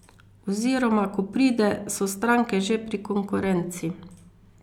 Oziroma ko pride, so stranke že pri konkurenci.